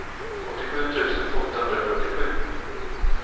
åttiosju tusen åttahundrafyrtiosju